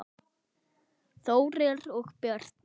Þórir og Birna.